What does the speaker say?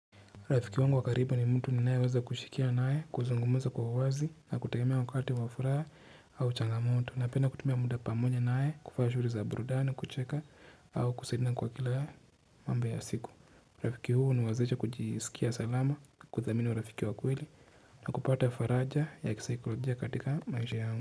Rafiki wangu wa karibu ni mtu ninayeweza kushirikiana nae kuzungumza kwa uwazi na kutegemea wakati wa furaha au changamoto napenda kutumia muda pamoja naye kufanya shughuli za burudani kucheka au kusaidiana kwa kila mamba ya siku rafiki huyu huniwezesha kujisikia salama kuthamini urafiki wa kweli na kupata ya faraja ya kisaikologia katika maisha yangu.